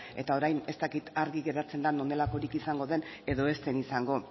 eta orain ez dakit argi geratzen den honelakorik izango den edo ez den izango